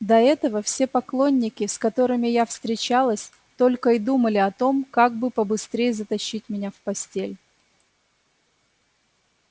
до этого все поклонники с которыми я встречалась только и думали о том как бы побыстрее затащить меня в постель